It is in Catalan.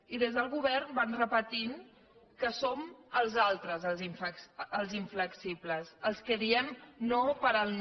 i des del govern van repetint que som els altres els inflexibles els que diem no per al no